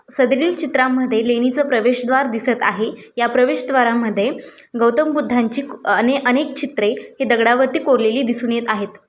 सदरील चित्रांमध्ये लेणिच प्रवेशद्वार दिसत आहे. या प्रवेशद्वार मध्ये गौतम बुद्धांची अने-अनेक चित्रे हे दगडावरती कोरलेली दिसून येत आहेत.